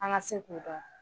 An ka se k'o dɔn